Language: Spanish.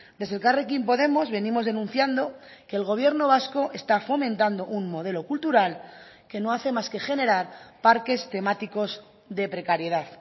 desde elkarrekin podemos venimos denunciando que el gobierno vasco está fomentando un modelo cultural que no hace más que generar parques temáticos de precariedad